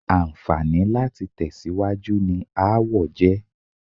Àǹfààní láti tẹ̀síwájú ni aáwọ̀ jẹ́.